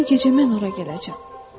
Bu gecə mən ora gələcəm.